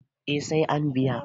eh sai an biya